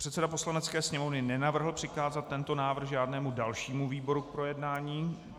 Předseda Poslanecké sněmovny nenavrhl přikázat tento návrh žádnému dalšímu výboru k projednání.